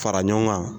Fara ɲɔgɔn kan